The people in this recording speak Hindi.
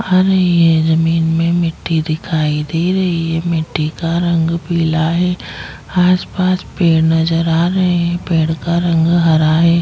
हमें ये जमीन में मिटटी दिखाई दे रही है मिटटी का रंग पीला है आसपास पेड़ नजर आ रहे है पेड़ का रंग हरा है।